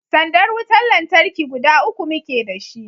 sandar wutar lantarki guda uku muke da shi